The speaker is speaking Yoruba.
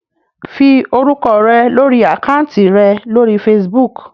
Fi orúkọ rẹ lórí àkáǹtì rẹ lórí Facebook